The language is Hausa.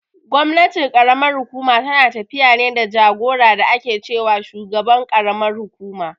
Gwamnatin ƙaramar hukuma tana tafiya ne da jagora da ake ce wa shugaban karamar kukuma.